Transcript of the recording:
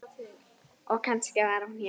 Og kannski var hún hjá